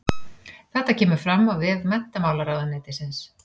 Þetta kemur fram á vef menntamálaráðuneytisins